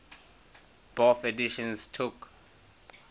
bofh editions took